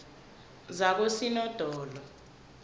zakosinodolo